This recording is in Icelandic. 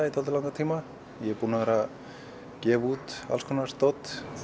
í dálítið langan tíma ég er búinn að vera að gefa út alls konar dót